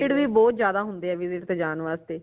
ਬੱਚੇ excited ਵੀ ਬਹੁਤ ਜ਼ਿਆਦਾ ਹੁੰਦੇ ਹੈ visit ਤੇ ਜਾਣ ਵਾਸਤੇ